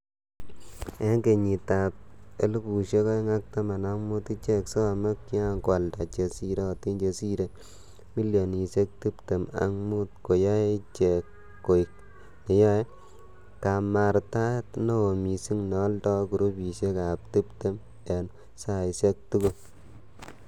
En kenyitab 2015,ichek somo ko kian koalda che sirotin chesire milionisiek tibtem ak mut, koyoe ichek koik neyoe kamartaet neo mising neoldoi grupisiek ab tibim en saisiek tugul.